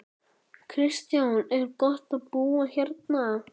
Kristján: Er gott að búa hérna?